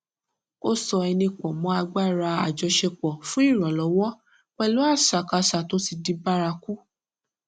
ó so ẹni pọ mọ agbára àjọṣepọ fún iranlọwọ pẹlú àṣàkáṣà tó ti di bárakú